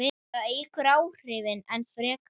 Það eykur áhrifin enn frekar.